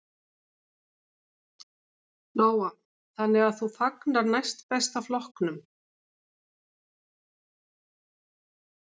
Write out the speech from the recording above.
Lóa: Þannig að þú fagnar Næst besta flokknum?